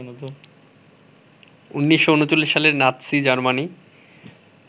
১৯৩৯ সালে Nazi Germany